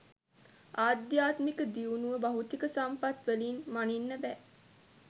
ආධ්‍යාත්මික දියුණුව භෞතික සම්පත් වලින් මනින්න බෑ.